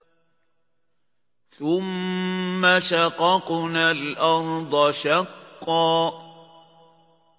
ثُمَّ شَقَقْنَا الْأَرْضَ شَقًّا